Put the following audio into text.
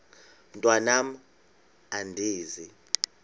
mntwan am andizi